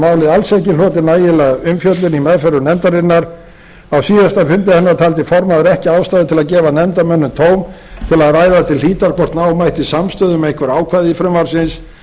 málið alls ekki hlotið nægilega umfjöllun í meðförum nefndarinnar á síðasta fundi hennar taldi formaður ekki ástæðu til að gefa nefndarmönnum tóm til að ræða til hlítar hvort ná mætti samstöðu um einhver ákvæði frumvarpsins